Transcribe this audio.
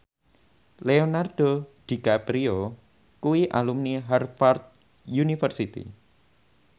Leonardo DiCaprio kuwi alumni Harvard university